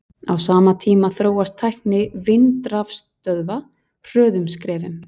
á sama tíma þróast tækni vindrafstöðva hröðum skrefum